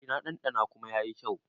E, na ɗanɗana kuma yayi kyau.